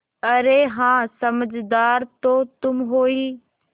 अरे हाँ समझदार तो तुम हो ही